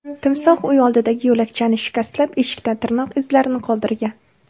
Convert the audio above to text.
Timsoh uy oldidagi yo‘lakchani shikastlab, eshikda tirnoq izlarini qoldirgan.